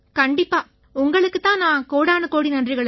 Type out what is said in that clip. உங்களுக்குத் தான் நாங்க கோடானுகோடி நன்றிகளைச் சொல்லணும்